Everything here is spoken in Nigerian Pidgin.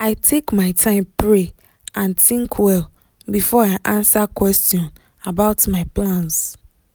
i take my time pray and think well before i answer question about my plans.